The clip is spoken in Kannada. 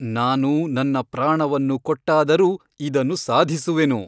ನಾನು ನನ್ನ ಪ್ರಾಣವನ್ನು ಕೊಟ್ಟಾದರೂ ಇದನ್ನು ಸಾಧಿಸುವೆನು.